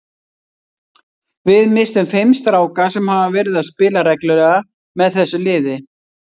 Við misstum fimm stráka sem hafa verið að spila reglulega með þessu liði.